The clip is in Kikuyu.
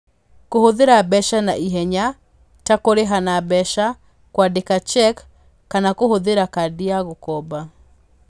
Kũhũthĩra mbeca na ihenya, ta kũrĩha na mbeca, kwandĩka cheque, kana kũhũthĩra kadi ya gũkomba.